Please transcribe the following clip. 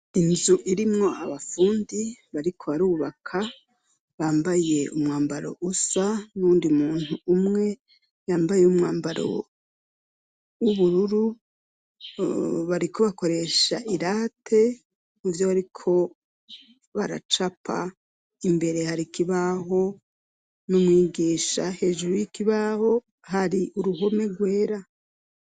Inzu irimwo abafundi bariko barubaka bambaye umwambaro usa n'uwudi muntu umwe yambaye umwambaro w'ubururu, bariko bakoresha irate mu vyo bariko baracapa, imbere hari ikibaho n'umwigisha, hejuru y'ikibaho hari uruhome rwera.